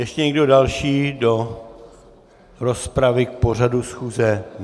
Ještě někdo další do rozpravy k pořadu schůze?